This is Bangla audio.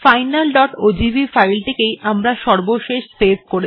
finalওজিভি ফাইলটিকেই আমরা সর্বশেষ সেভ করেছি